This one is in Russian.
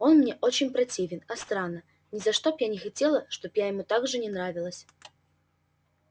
он мне очень противен а странно ни за что б я не хотела чтоб я ему так же не нравилась